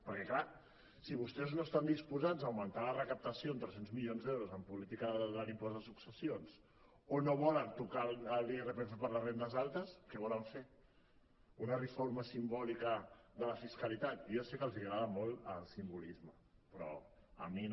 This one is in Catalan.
perquè clar si vostès no estan disposats a augmentar la recaptació en tres cents milions d’euros en política de l’impost de successions o no volen tocar l’irpf per a les rendes altes què volen fer una reforma simbòlica de la fiscalitat jo sé que els agrada molt el simbolisme però a mi no